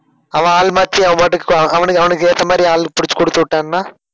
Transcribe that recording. அவன் ஆள் மாத்தி அவன் பாட்டுக்கு அஹ் அவனுக்கு அவனுக்கு ஏத்த மாதிரி ஆளு புடிச்சு குடுத்துவிட்டான்னா